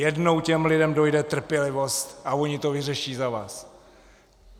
Jednou těm lidem dojde trpělivost a oni to vyřeší za vás!